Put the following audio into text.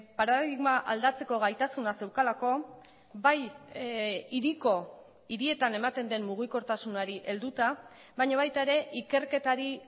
paradigma aldatzeko gaitasuna zeukalako bai hiriko hirietan ematen den mugikortasunari helduta baina baita ere ikerketari